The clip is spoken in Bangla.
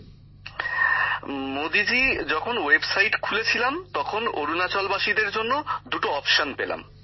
গ্যামর জীঃ মোদীজি যখন ওয়েবসাইট খুলে ছিলাম তখন অরুণাচল বাসীদের জন্য দুটো অপশন পেলাম